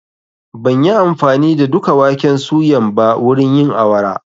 Ban yi amfani da duka waken suyan ba wurin yin awara.